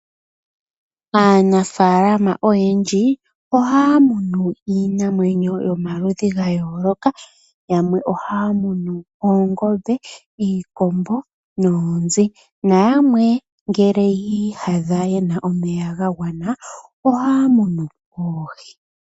Aanafalama oyendji ohaa munu iinamwenyo yomaludhi gayoloka yamwe ohaa munu Oongombe, Iikombo noonzi na yamwe ngele yi yadha yena omeya gagwana ohaa munu oohi.